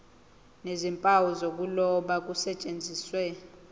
nezimpawu zokuloba kusetshenziswe